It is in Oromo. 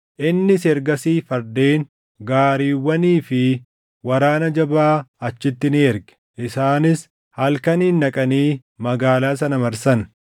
Innis ergasii fardeen, gaariiwwanii fi waraana jabaa achitti ni erge. Isaanis halkaniin dhaqanii magaalaa sana marsan.